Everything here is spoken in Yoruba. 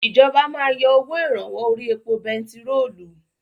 Ìjọba máa yọ owó ìrànwọ́ orí epo bentiróòlù.